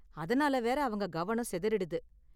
அதனால வேற அவங்க கவனம் சிதறிடுது.